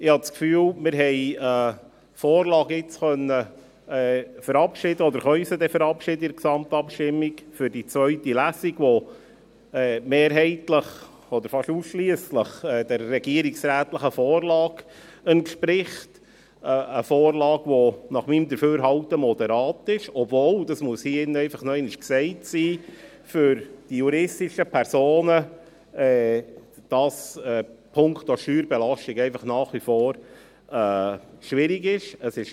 Ich habe das Gefühl, wir haben eine Vorlage verabschieden können, oder werden sie mit der Gesamtabstimmung für die zweite Lesung verabschieden können, welche mehrheitlich oder fast ausschliesslich der regierungsrätlichen Vorlage entspricht – eine Vorlage, welche nach meinem Dafürhalten moderat ist, obwohl diese für die juristischen Personen punkto Steuerbelastung nach wie vor schwierig ist.